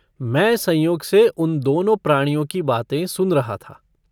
मैं संयोग से उन दोनों प्राणियों की बातें सुन रहा था।